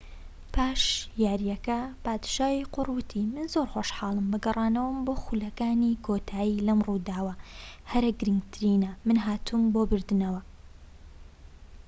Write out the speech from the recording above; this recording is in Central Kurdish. پاش یاریەکە پادشای قوڕ وتی من زۆر خۆشحاڵم بە گەڕانەوەم بۆ خولەکانی کۆتایی لەم ڕووداوە هەرە گرنگترینە من هاتووم بۆ بردنەوە